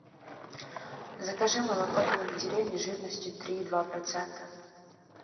закажи молоко домик в деревне жирностью три и два процента